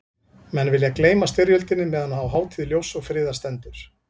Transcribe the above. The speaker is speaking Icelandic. Menn vilja gleyma styrjöldinni meðan á hátíð ljóss og friðar stendur.